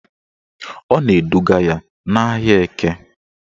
Ọ na-eduga ya n'ahịa Eke